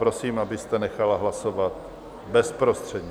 Prosím, abyste nechala hlasovat bezprostředně.